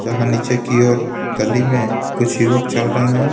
जहाँ नीचे की ओर गली में कुछ युवक चल रहे हैं.